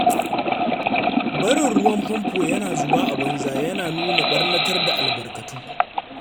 Barin ruwan famfo yana zuba a banza yana nuna ɓarnatar da albarkatu.